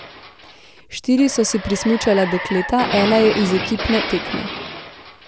Štiri so si prismučala dekleta, ena je z ekipne tekme.